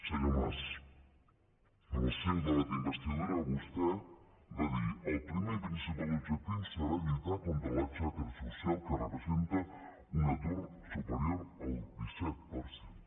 senyor mas en el seu debat d’investidura vostè va dir el primer i principal objectiu serà lluitar contra la xacra social que representa un atur superior al disset per cent